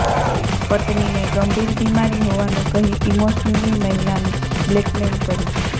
પત્નીને ગંભીર બીમારી હોવાનું કહી ઈમોશનલી મહિલાને બ્લેકમેઈલ કરી